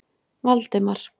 Valdemar